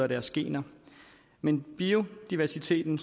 og deres gener men biodiversiteten